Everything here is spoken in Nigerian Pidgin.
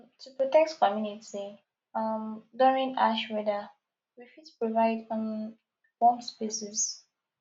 um to protect community um during harsh weather we fit provide um warm spaces